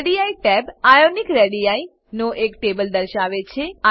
ready tab ionic radii નો એક table દર્શાવે છે